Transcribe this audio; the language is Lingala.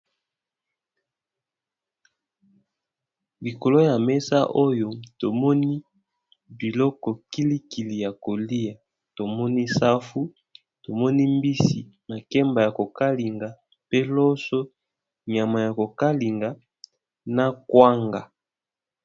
Likolo ya meza oyo tomoni biloko kili kili yakolya tomoni safu, mbisi, makemba yako kalinga, loso, nyama yako kalinga na kwanga.